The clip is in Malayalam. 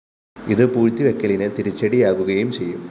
ഇത് പൂഴ്ത്തിവെയ്ക്കലിന് തിരിച്ചടിയാകുകയും ചെയ്യും